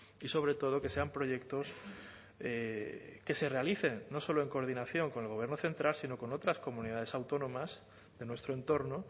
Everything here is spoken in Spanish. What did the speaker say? y sobre todo que sean proyectos que se realicen no solo en coordinación con el gobierno central sino con otras comunidades autónomas de nuestro entorno